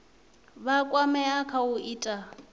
vha kwamea kha u ita